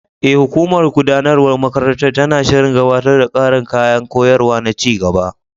E, hukumar gudanarwar makarantar tana shirin gabatar da ƙarin kayan koyarwa na ci gaba.